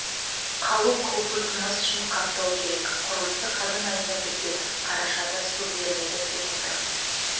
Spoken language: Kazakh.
қалу қаупі тумас үшін қаптау керек құрылысы қазан айында бітеді қарашада су беріледі деп отырмыз